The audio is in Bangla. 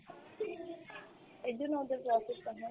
এরজন্য ওদের profit টা হয়